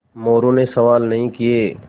मोरू ने सवाल नहीं किये